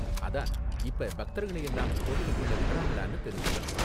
அதான், இப்ப பக்தர்களை எல்லாம் கோவிலுக்குள்ள விடுறாங்களான்னு தெரிஞ்சுக்கணும்.